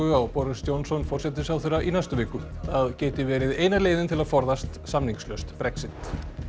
á Boris Johnson forsætisráðherra í næstu viku það geti verið eina leiðin til að forðast samningslaust Brexit